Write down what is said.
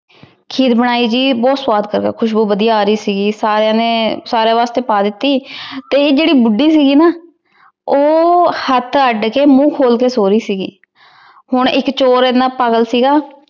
ਖੀਰ ਬਣਾਈ ਗਈ ਬੋਹਤ ਸਵਾਦ ਖੁਸ਼ਬੂ ਵਾਦਿਯ ਆ ਰਹੀ ਸੀਗੀ ਸਾਰੀਆਂ ਨੇ ਖਾਂ ਵਾਸ੍ਟੀ ਪਾ ਦਿਤੀ ਤੇ ਈਯ ਜੇਰੀ ਬੁਧਿ ਸੀਗੀ ਨਾ ਊ ਹੇਠ ਏਡ ਕੇ ਮੁਹ ਖੋਲ ਕੇ ਸੋ ਰਹੀ ਸੀਗੀ ਹਨ ਏਇਕ ਚੋਰ ਏਨਾ ਪਾਗਲ ਸੀਗਾ